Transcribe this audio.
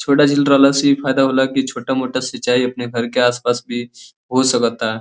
छोटा झील रहला से इ फायदा होला कि छोटा मोटा सिंचाई अपने घर के आस पास भी हो सकता।